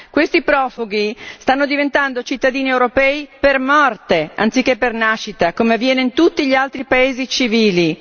Questi profughi stanno diventando cittadini europei per morte anziché per nascita, come avviene in tutti gli altri paesi civili.